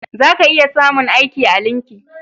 Za ka iya samun aiki a linki